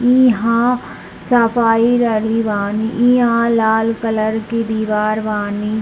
ईहां सपाइ रहलि बानी ईहां लाल कलर के दिवार बानी